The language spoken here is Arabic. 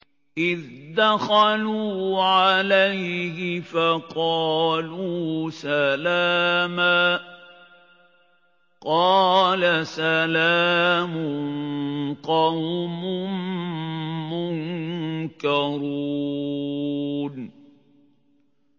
إِذْ دَخَلُوا عَلَيْهِ فَقَالُوا سَلَامًا ۖ قَالَ سَلَامٌ قَوْمٌ مُّنكَرُونَ